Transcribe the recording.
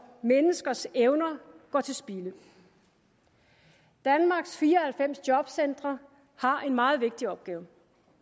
menneskers evner går til spilde danmarks fire og halvfems jobcentre har en meget vigtig opgave